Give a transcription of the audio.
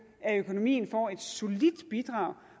at økonomien får et solidt bidrag